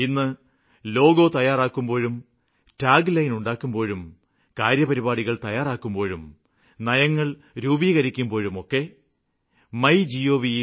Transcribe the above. ഇന്ന് ലോഗോ തയ്യാറാക്കുമ്പോഴും tagline ഉണ്ടാക്കുമ്പോഴും കാര്യപരിപാടികള് തയ്യാറാക്കുമ്പോഴും നയങ്ങള് രൂപീകരിക്കുമ്പോഴുമൊക്കെ മൈ gov